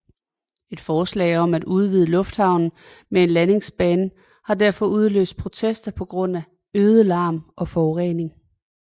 Et forslag om at udvide lufthavnen med en landingsbane har derfor udløst protester pga øget larm og forurening